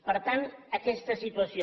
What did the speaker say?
per tant aquesta és la situació